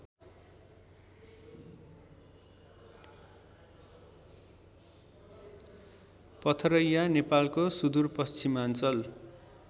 पथरैया नेपालको सुदूरपश्चिमाञ्चल